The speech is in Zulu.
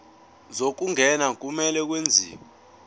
zokungena kumele kwenziwe